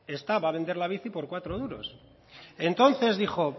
esta va a vender la bici por cuatro duros entonces dijo